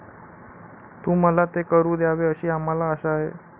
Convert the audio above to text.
तू मला ते करू द्यावे अशी आम्हाला आशा आहे.